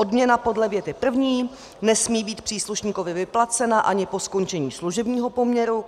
Odměna podle věty první nesmí být příslušníkovi vyplacena ani po skončení služebního poměru.